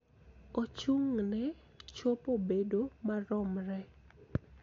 Ochung�ne chopo bedo maromre.